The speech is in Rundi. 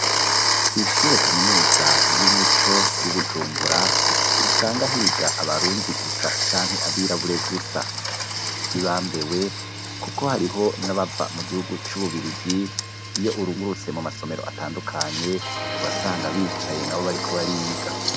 Kwishure kaminuza y'umuco y'ibujumbura ntusanga higa abarundi gusa canke abirabure gusa, hibambewe kuko hariho nabava mu gihugu c'ububirigi iyo urungurutse mu masomero atandukanye urasanga bicaye na bo bariko bariga.